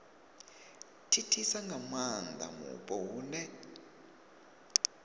thithisa nga maanda mupo hune